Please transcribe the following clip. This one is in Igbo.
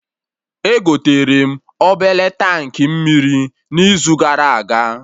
Egoterem obele tankị mmiri n'izu gara aga